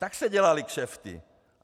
Tak se dělaly kšefty!